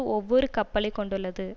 ஒவ்வொரு கப்பலை கொண்டுள்ளது